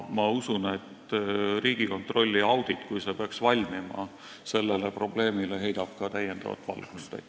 Ma usun, et Riigikontrolli audit, kui see peaks valmima, heidab ka sellele valgust.